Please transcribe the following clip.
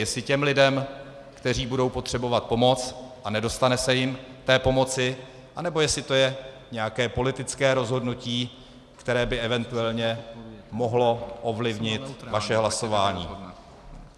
Jestli těm lidem, kteří budou potřebovat pomoc, a nedostane se jim té pomoci, anebo jestli to je nějaké politické rozhodnutí, které by eventuálně mohlo ovlivnit vaše hlasování.